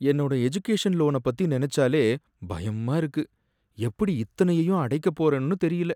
என்னோட எஜுகேஷன் லோன பத்தி நனச்சாலே பயமா இருக்கு, எப்படி இத்தனையையும் அடைக்க போறன்னு தெரியல.